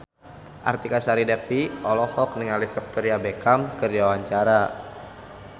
Artika Sari Devi olohok ningali Victoria Beckham keur diwawancara